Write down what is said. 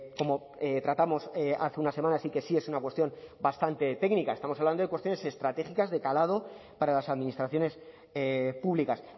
como tratamos hace unas semanas y que sí es una cuestión bastante técnica estamos hablando de cuestiones estratégicas de calado para las administraciones públicas